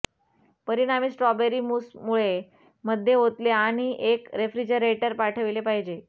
परिणामी strawberry mousse मुळे मध्ये ओतले आणि एक रेफ्रिजरेटर पाठविले पाहिजे